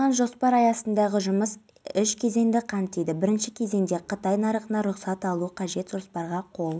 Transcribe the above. күдікті бас мамандар мемлекеттік аудиторлар әпейісова және шәмілдің қатысуымен пара алу бойынша қылмыстық схема құрған деп